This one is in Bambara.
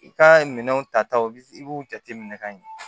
I ka minɛnw ta taw i b'u jateminɛ ka ɲɛ